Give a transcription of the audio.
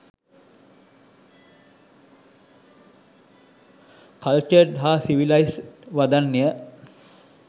cultured හා civilised වදන්ය